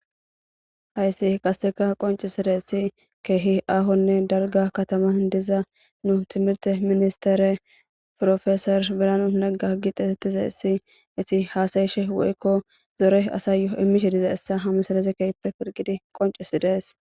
hayssi qaseka qoncisaressi kehi ahonne darga katama diza nu timirte ministere profesor biran nagga getetizayssi eti haasayishe woykko zore asayyoo imishe dizayssa ha missilez keehppe pilgidi qoncisidees